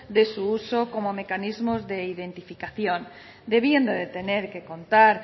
de su uso como mecanismo de identificación debiendo de tener que contar